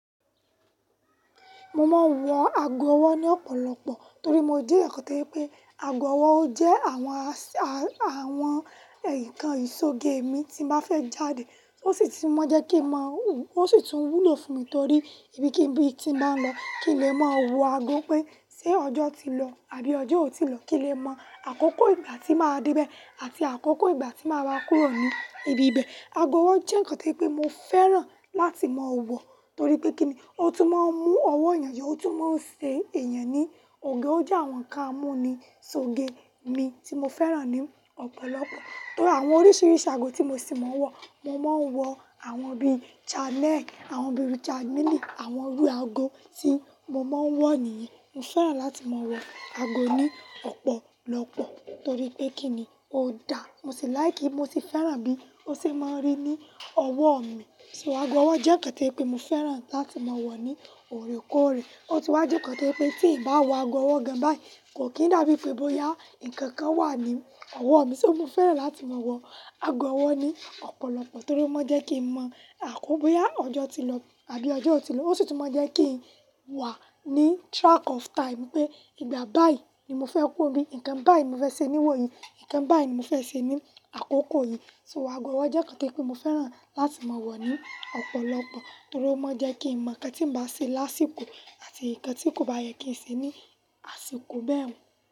Mo máa ń wọ ago ọwọ́ ní ọ̀pọ̀lọpọ̀ torí mo jẹ́ ǹkan tí pé ago ọwọ́ jẹ́ àwọn, àwọn nǹkan ìṣoge èmi tí mo fẹ́ jáde, ó sì tún máa ń jẹ́ kí màá, ó sì tún wúlò fún mi torí ibikíbi tí màá lọ kí lè máa mọ ago pé ṣé ọjọ́ ti lọ àbí ọjọ́ ò tíì lọ, kí lè mọ àkókò ìgbà tí màá dé ibẹ̀ àti àkókò ìgbà tí màá wá kúrò ní ibi ibẹ̀. Ago ọwọ́ jẹ́ ǹkan tí pé mo fẹ́ràn láti máa wọ̀ torí pé kí ni, ó tún máa ń mú ọwọ́ èèyàn yọ́, ó tún máa ń ṣe ẹ̀yàn ní òge, ó jẹ́ àwọn ǹkan amúnisoge mi tí mo fẹ́ràn ní ọ̀pọ̀lọpọ̀. Torí àwọn oríṣiríṣi ago tí mo ṣì máa ń wọ, mo máa ń wọ àwọn bíi Channel, àwọn bíi Richard Mille, àwọn irú ago tí mo máa ń wọ niyẹn. Mo fẹ́ràn láti máa wọ ago ní ọ̀pọ̀lọpọ̀ torí pé kí ni, ó da, mo sì láì kí n mo sì fẹ́ràn bí ó ṣe máa ń rí ní ọwọ́ mi. Ṣé ago ọwọ́ jẹ́ ǹkan tí pé mo fẹ́ràn láti máa wọ̀ ní òrékọ́ọ̀rẹ́. Ó tún wá jẹ́ ǹkan tí pé tí ǹ bá wọ ago ọwọ́ gan báyìí kò kín dàbí pé bóyá nǹkan kan wà ní ọwọ́ mi, ṣé mo fẹ́ràn láti máa wọ ago ọwọ́ ni ọ̀pọ̀lọpọ̀ torí ó máa ń jẹ́ kí n mọ àkókò bóyá ọjọ́ ti lọ àbí ọjọ́ ò tí ì lọ. Ó sì tún máa ń jẹ́ kí n wà ní track of time pé ìgbà bá yìí ni mo fẹ́ kú bí, ǹkan bá yìí mo fẹ́ ṣe ní wò yí, ǹkan bá yìí mo fẹ́ ṣe ní àkókò yìí. Ṣé ago ọwọ́ jẹ́ ǹkan tí pé mo fẹ́ràn láti máa wọ̀ ní ọ̀pọ̀lọpọ̀ torí ó máa ń jẹ́ kí n mọ̀ ǹkan tí ǹ bá ṣe lásìkò àti ǹkan tí kò bá yẹ kí n ṣe ní àsìkò bẹ́ẹ̀ hán.